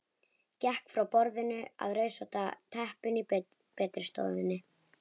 Gekk frá borðinu að rauðrósótta teppinu í betri stofunni.